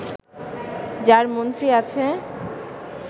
যার মন্ত্রী আছে